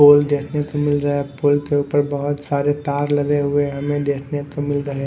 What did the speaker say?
पोल देखने को मिल रहा है पोल के ऊपर बहुत सारे तार लगे हुए हमें देखने को मिल रहे हैं।